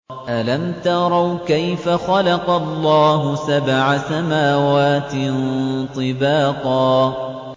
أَلَمْ تَرَوْا كَيْفَ خَلَقَ اللَّهُ سَبْعَ سَمَاوَاتٍ طِبَاقًا